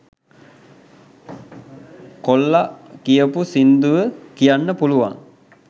කොල්ලා කියපු සින්දුව කියන්න පුළුවන්